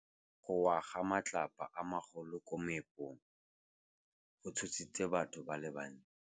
Go wa ga matlapa a magolo ko moepong go tshositse batho ba le bantsi.